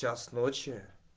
час ночи